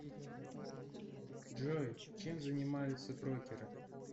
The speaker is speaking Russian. джой чем занимаются брокеры